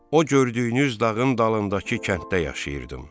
O gördüyünüz dağın dalındakı kənddə yaşayırdım.